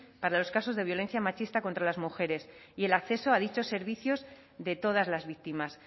para los casos de violencia machista contra las mujeres y el acceso a dichos servicios de todas las víctimas